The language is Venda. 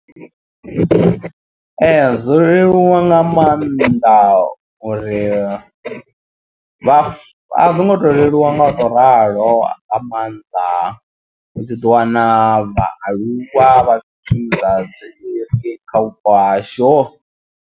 Ee zwo leluwa nga maanḓa uri vha a zwi ngo to leluwa nga u to ralo. Nga maanḓa ndi tshi ḓi wana vhaaluwa vha tshi nnḓadze kha vhupo hashu.